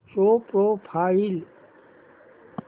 show profile